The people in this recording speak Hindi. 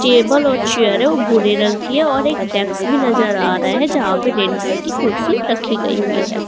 टेबल और चेयर है वो भूरे रंग की है और एक डेक्स भी नजर आ रहा है जहां पे रेड कलर की कुर्सी रखी गई हुई है।